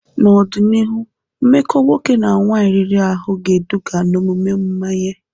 N'ọdịnihu, mmekọ nwoke na nwaanyị riri ahụ ga-eduga n'omume mmanye.